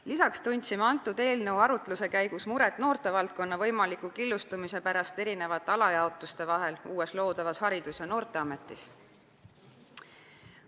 Lisaks tundsime eelnõu arutluse käigus muret noortevaldkonna võimaliku killustumise pärast erinevate alajaotuste vahel uues loodavas Haridus- ja Noorteametis.